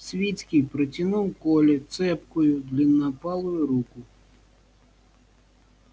свицкий протянул коле цепкую длиннопалую руку